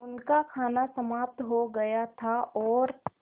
उनका खाना समाप्त हो गया था और